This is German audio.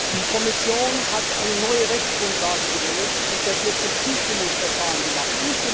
Die Kommission hat eine neue Rechtsgrundlage gewählt und das jetzt im Zustimmungsverfahren gemacht.